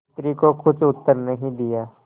स्त्री को कुछ उत्तर नहीं दिया